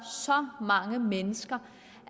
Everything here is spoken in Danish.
så mange mennesker